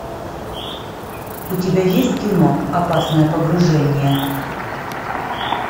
у тебя есть кино опасное погружение